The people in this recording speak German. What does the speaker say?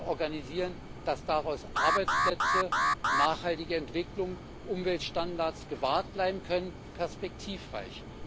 organisieren können, dass dabei Arbeitsplätze, nachhaltige Entwicklung, Umweltstandards gewahrt bleiben können perspektivreich.